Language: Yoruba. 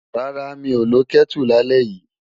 Rárá, mi ò lo Kẹ́tù lálẹ́ yìí.